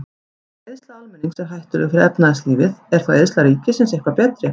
Ef eyðsla almennings er hættuleg fyrir efnahagslífið, er þá eyðsla ríkisins eitthvað betri?